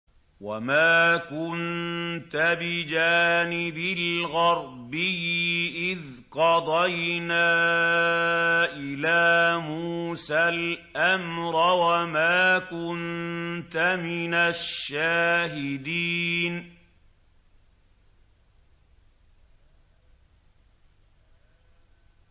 وَمَا كُنتَ بِجَانِبِ الْغَرْبِيِّ إِذْ قَضَيْنَا إِلَىٰ مُوسَى الْأَمْرَ وَمَا كُنتَ مِنَ الشَّاهِدِينَ